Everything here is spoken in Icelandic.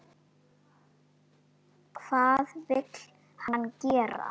Hvað vill hann gera?